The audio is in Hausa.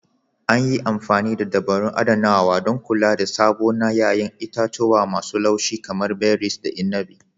An yi amfani da dabarun adanawa, don kula da sabo na 'ya'yan itatuwa masu laushi kamar berries da inabi.